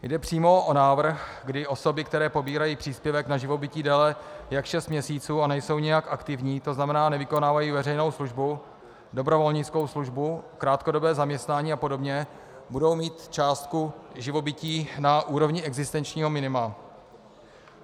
Jde přímo o návrh, kdy osoby, které pobírají příspěvek na živobytí déle jak šest měsíců a nejsou nijak aktivní, to znamená nevykonávají veřejnou službu, dobrovolnickou službu, krátkodobé zaměstnání a podobně, budou mít částku živobytí na úrovni existenčního minima.